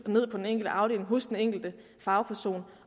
på den enkelte afdeling og hos den enkelte fagperson